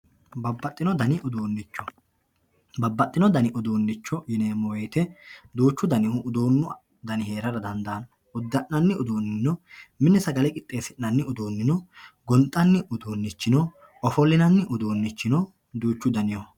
babbaxxino dani uduunnicho babbaxxino dani uduunnicho yineemmo woyiite duuchu danihu uduunnu heerara dandaanno uddi'nanni uduunni no mine sagale qixxeessi'nanni uduunni no gonxanni uduunnicho no ofollinanni uduunnicho no duuchu danihu.